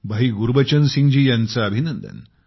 भाई गुरबचन सिंग जी यांचे अभिनंदन